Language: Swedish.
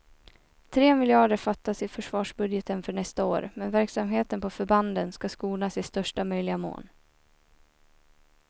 Tre miljarder fattas i försvarsbudgeten för nästa år, men verksamheten på förbanden ska skonas i största möjliga mån.